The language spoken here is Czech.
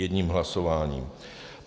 Jedním hlasováním.